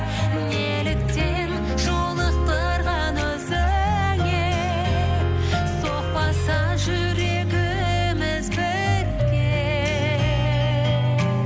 неліктен жолықтырған өзіңе соқпаса жүрегіміз бірге